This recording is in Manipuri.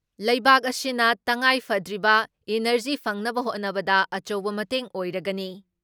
ꯂꯩꯕꯥꯛ ꯑꯁꯤꯅ ꯇꯉꯥꯏꯐꯗ꯭ꯔꯤꯕ ꯏꯟꯅꯔꯖꯤ ꯐꯪꯅꯕ ꯍꯣꯠꯅꯕꯗ ꯑꯆꯧꯕ ꯃꯇꯦꯡ ꯑꯣꯏꯔꯒꯅꯤ ꯫